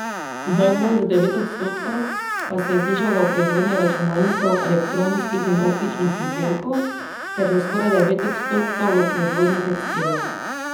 Najbolj, za devet odstotkov, pa se je znižal v proizvodnji računalnikov, elektronskih in optičnih izdelkov ter, za skoraj devet odstotkov, v proizvodnji tekstila.